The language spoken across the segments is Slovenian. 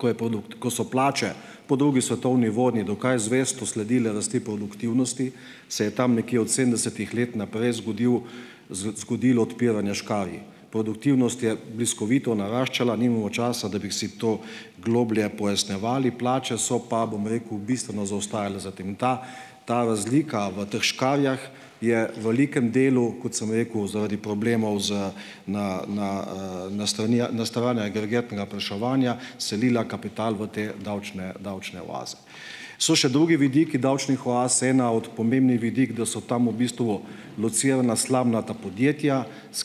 ko je produkt, ko so plače po drugi svetovni vedno dokaj zvesto sledile rasti produktivnosti, se je tam nekje od sedemdesetih let naprej zgodilo zgodilo odpiranje škarij. Produktivnost je bliskovito naraščala, nimamo časa, da bi si to globlje pojasnjevali, plače so pa, bom rekel, bistveno zaostajale za tem. Ta ta razlika v teh škarjah je velikem delu, kot sem rekel, zaradi problemov z na, na, na strani na strani agregatnega povpraševanja selila kapital v te davčne, davčne oaze. So še drugi vidiki davčnih oaz, eden od pomembnih vidikov, da so tam v bistvu locirana slamnata podjetja, s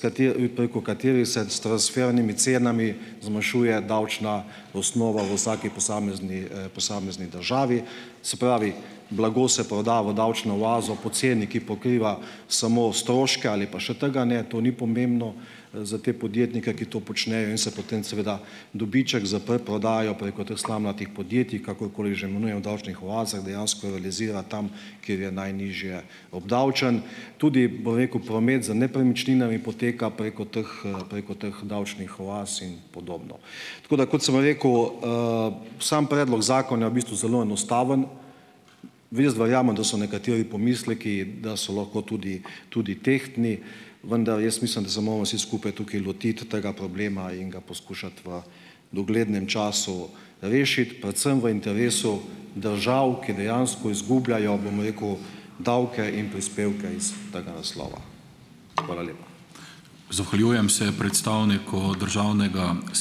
preko katerih se s transfernimi cenami zmanjšuje davčna osnova v vsaki posamezni, posamezni državi. Se pravi, blago se proda v davčno oazo po ceni, ki pokriva samo stroške ali pa še tga ne, to ni pomembno, za te podjetnike, ki to počnejo, in se potem seveda dobiček za preprodajo preko teh slamnatih podjetij, kakorkoli že imenujemo, davčnih oazah dejansko realizira tam, kjer je najnižje obdavčen. Tudi, bom rekel, promet z nepremičninami poteka preko teh, preko teh davčnih oaz in podobno. Tako da, kot sem rekel, sam predlog zakona je v bistvu zelo enostaven. Jaz verjamem, da so nekateri pomisleki, da so lahko tudi, tudi tehtni, vendar jaz mislim, da se moramo vsi skupaj tukaj lotiti tega problema in ga poskušati v uglednem času rešiti. Predvsem v interesu držav, ki dejansko izgubljajo, bom rekel, davke in prispevke iz tega naslova. Hvala lepa.